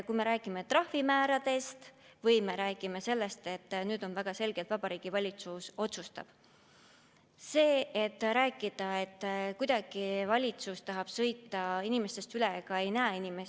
Kui me räägime trahvimääradest või me räägime sellest, et nüüd väga selgelt Vabariigi Valitsus otsustab, siis ei ole õige väita, et kuidagi valitsus tahab inimestest üle sõita ega ei näe inimesi.